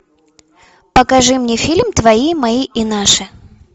покажи мне фильм твои мои и наши